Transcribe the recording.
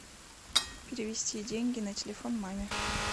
перевести деньги на телефон маме